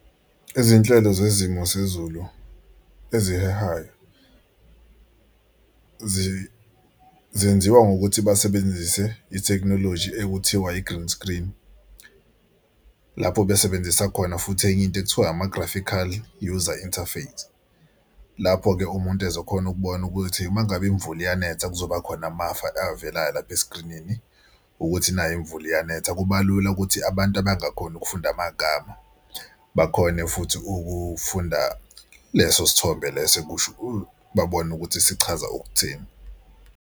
Izinhlelo zesimo zezulu ezihehayo zenziwa ngokuthi basebenzise ithekhinoloji ekuthiwa i-green screen, lapho besebenzisa khona futhi enye into ekuthiwa ama-graphical user interface. Lapho-ke umuntu ezokhona ukubona ukuthi uma ngabe imvula iyanetha kuzoba khona amafu avelayo lapha eskrinini ukuthi nayi imvula iyanetha. Kuba lula ukuthi abantu abangakhoni ukufunda amagama bakhone futhi ukufunda leso sithombe leso babone ukuthi sichaza ukuthini.